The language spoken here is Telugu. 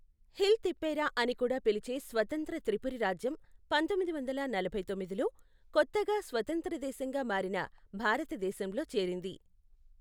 హిల్ తిప్పేరా అని కూడా పిలిచే స్వతంత్ర త్రిపురి రాజ్యం పంతొమ్మిది వందల నలభై తొమ్మిదిలో, కొత్తగా స్వతంత్రదేశంగా మారిన భారతదేశంలో చేరింది.